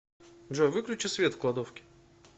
джой выключи свет в кладовке